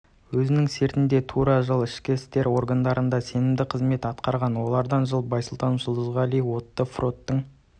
өзінің сертінде тұра жыл ішкі істер органдарында сенімді қызмет атқарған олардан жыл байсултанов жулдызғали отты фронттың